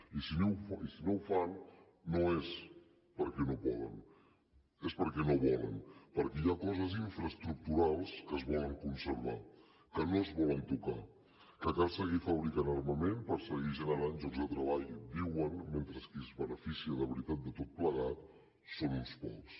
i si no ho fan no és perquè no poden és perquè no volen perquè hi ha coses infraestructurals que es volen conservar que no es volen tocar que cal seguir fabricant armament per seguir generant llocs de treball diuen mentre qui es beneficia de veritat de tot plegat són uns pocs